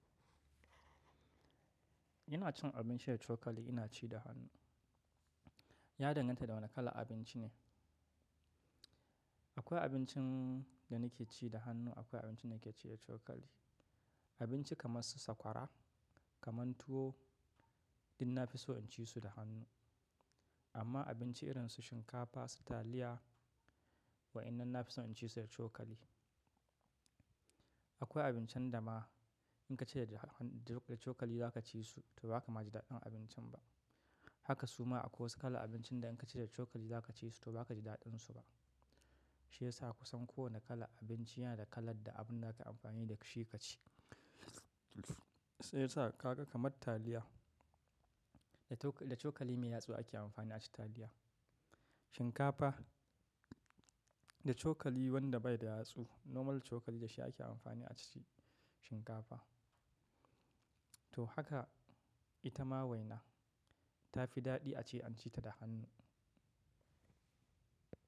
Ina cin abinci da cokali, ina ci da hannu. Ya danganta da wane kalar abinci ne. Akwai abincin da nake ci da hannu, akwai abinci da nake ci da cokali. Abinci kamar su sakwara, kamar tuwo, duk na fi so in ci su da hannu. Amma abinci irin su shinkafa, su taliya, wa'inan na fi so in ci su da cokali. Akwai abincin da ma in ka ci da cokali za ka ci su, to ba ka ma ji daɗin abincin ba. Haka suma akwai wasu kala abincin da in ka ci da cokali za ka ci su, to ba ka ji daɗin su ba. Shi ya sa kusan kowane kalan abinci yana da kalar da abin da aka amfani da shi ka ci. Sai ya sa ka ga kamar taliya, da cokali mai yatsu ake amfani a ci taliya. Shinkafa, da cokali wanda bai da yatsu, normal cokali da shi ake amfani a ci shinkafa. To haka ita ma waina ta fi daɗi a ce an ci ta da hannu.